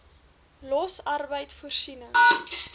los arbeid voorsiening